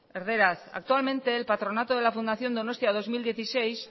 erdaraz actualmente el patronato de la fundación donostia dos mil dieciséis